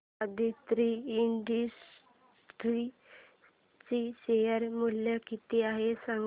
Aditri Industries चे share मूल्य किती आहे सांगा